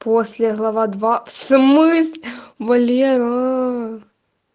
после глава два в смыс валераа